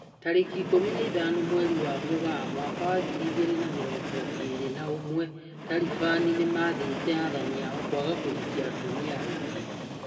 Tariki ikũmi na ithano mweri-inĩ wa Mũgaa mwaka wa ngiri igĩrĩ na mĩrongo ĩrĩ na ũmwe, Taliban nĩmathĩte athani ao kwaga kũhikia atumia aingĩ